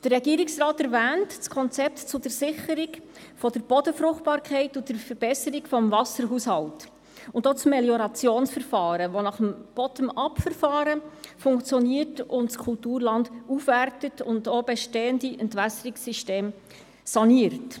Der Regierungsrat erwähnt das Konzept zur Sicherung der Bodenfruchtbarkeit und der Verbesserung des Wasserhaushalts sowie das Meliorationsverfahren, das nach dem Bottom-up-Verfahren funktioniert, das Kulturland aufwertet und auch bestehende Entwässerungssysteme saniert.